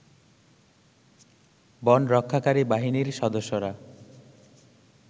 বনরক্ষাকারী বাহিনীর সদস্যরা